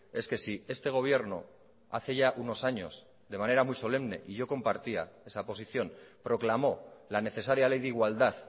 es que si este gobierno hace ya unos años de manera muy solemne y yo compartía esa posición proclamó la necesaria ley de igualdad